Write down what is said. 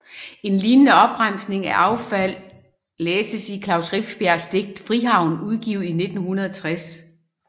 En lignende opremsning af affald læses i Klaus Rifbjergs digt Frihavnen udgivet 1960